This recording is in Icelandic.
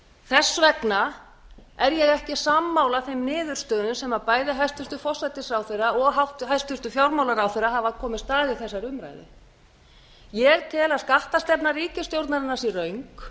þess vegna er ég ekki sammála þeim niðurstöðum sem bæði hæstvirtan forsætisráðherra og hæstvirtur fjármálaráðherra hafa komist að í þessari umræðu ég tel að skattastefna ríkisstjórnarinnar sé röng